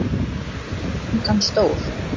Er gangan stór?